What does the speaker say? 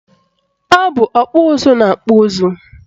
Ọ bụ ọkpụ ụzụ na-akpụ ụzụ